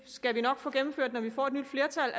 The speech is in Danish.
det skal vi nok få gennemført når vi får et nyt flertal